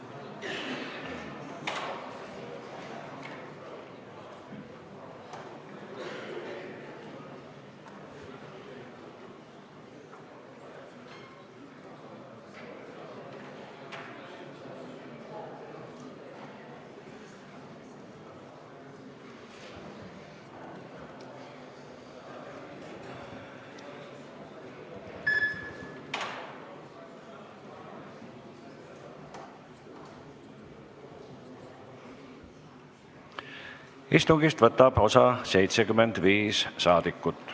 Kohaloleku kontroll Istungist võtab osa 75 saadikut.